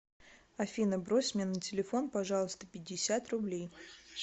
афина брось мне на телефон пожалуйста пятьдесят рублей